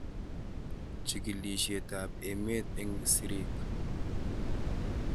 Chig'ilishet ab emet eng'sirik